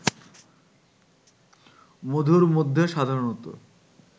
মধুর মধ্যে সাধারণত